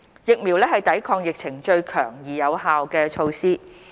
疫苗是抵抗疫情最強而有效的措施。